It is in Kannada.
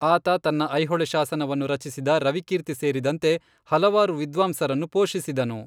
ಆತ ತನ್ನ ಐಹೊಳೆ ಶಾಸನವನ್ನು ರಚಿಸಿದ ರವಿಕೀರ್ತಿ ಸೇರಿದಂತೆ ಹಲವಾರು ವಿದ್ವಾಂಸರನ್ನು ಪೋಷಿಸಿದನು.